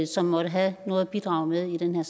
som måtte have noget at bidrage med i den